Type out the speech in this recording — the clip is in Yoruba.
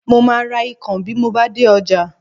Mo máa ra ikàn bí mo bá dé ọjà